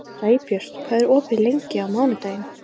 Sæbjört, hvað er opið lengi á mánudaginn?